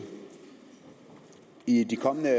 i de kommende